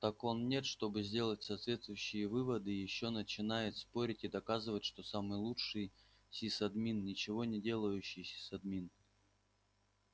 так он нет чтобы сделать соответствующие выводы ещё начинает спорить и доказывать что самый лучший сисадмин ничего не делающий сисадмин